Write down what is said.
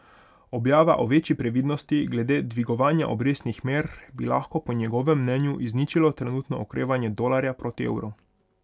Objava o večji previdnosti glede dvigovanja obrestnih mer bi lahko po njegovem mnenju izničilo trenutno okrevanje dolarja proti evru.